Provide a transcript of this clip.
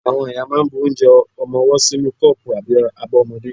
Àwọn ìyá máà ń bu onje ọmọwọ́ sínú kọ́pù àbí abọ́ ọmọdé.